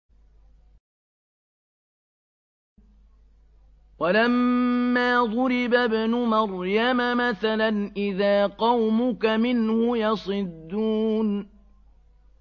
۞ وَلَمَّا ضُرِبَ ابْنُ مَرْيَمَ مَثَلًا إِذَا قَوْمُكَ مِنْهُ يَصِدُّونَ